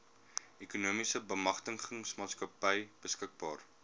ekonomiese bemagtigingsmaatskappy beskikbaar